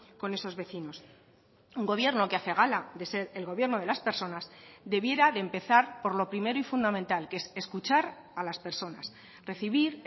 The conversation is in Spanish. con esos vecinos un gobierno que hace gala de ser el gobierno de las personas debiera de empezar por lo primero y fundamental que es escuchar a las personas recibir